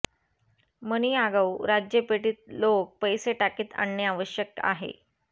मनी आगाऊ राज्य पेटीत लोक पैसे टाकीत आणणे आवश्यक आहे